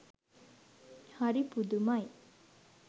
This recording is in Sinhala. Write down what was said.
හරි පුදුමයි!